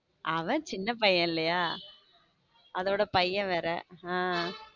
அவன் சின்ன பையன்ல இல்லையா அதோட பையன் வே ஹம்